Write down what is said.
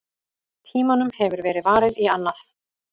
Tímanum hefur verið varið í annað.